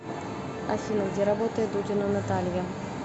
афина где работает дудина наталья